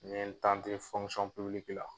N ye n tante fɔnkusɔn pibiliki la